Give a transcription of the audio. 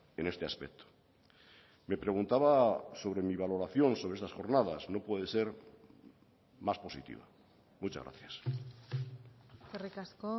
en este aspecto me preguntaba sobre mi valoración sobre esas jornadas no puede ser más positiva muchas gracias eskerrik asko